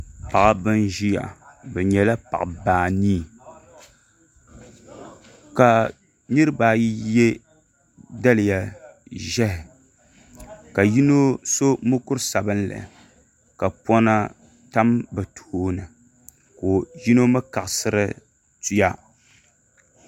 Paɣaba n ʒiya bi nyɛla paɣaba anii ka niraba ayi yɛ daliya ʒiɛhi ka yino so mokuru sabinli ka pona tam bi tooni ka yino mii kaɣasiri tuya